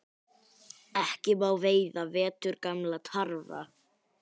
Ekki má veiða veturgamla tarfa